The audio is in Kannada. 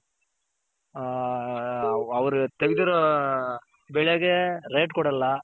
ಆ ಅವ್ರ್ ತಗ್ದಿರೋ ಬೆಳೆಗೆ rate ಕೊಡಲ್ಲ.